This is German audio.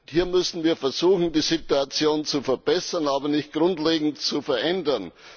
Hier müssen wir versuchen, die Situation zu verbessern, aber nicht grundlegend zu verändern.